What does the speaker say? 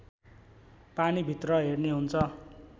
पानीभित्र हेर्ने हुन्छ